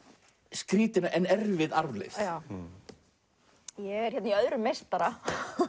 skrýtin en erfið arfleifð ég er í öðrum meistara